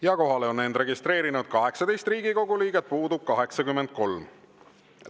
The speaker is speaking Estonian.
Kohalolijaks on end registreerinud 18 Riigikogu liiget, puudub 83.